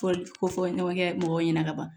Foli ko fɔ ɲɔgɔnkɛ mɔgɔw ɲɛna ka ban